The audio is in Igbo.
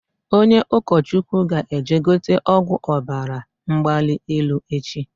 Onye ụkọ Chukwu ga eje gote ọgwụ Ọbara mgbali elu echi